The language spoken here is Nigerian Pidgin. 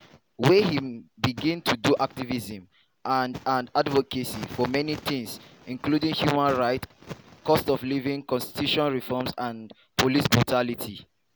wey im begin to do activism and and advocacy for many tins including human rights cost of living constitution reforms and police brutality.